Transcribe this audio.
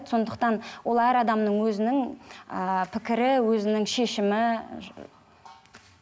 сондықтан ол әр адамның өзінің ііі пікірі өзінің шешімі